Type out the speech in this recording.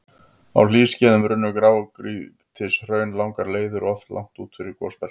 Á hlýskeiðum runnu grágrýtishraun langar leiðir og oft langt út fyrir gosbeltin.